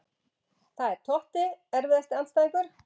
Það er Totti Erfiðasti andstæðingur?